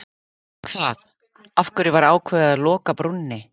Hvað, af hverju var ákveðið að loka brúnni?